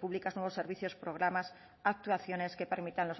públicas nuevos servicios programas actuaciones que permitan